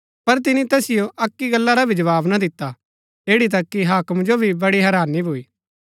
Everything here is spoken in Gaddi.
पर तिनी तैसिओ अक्की गल्ला रा भी जवाव ना दिता ऐड़ी तक कि हाक्म जो भी बड़ी हैरानी भूई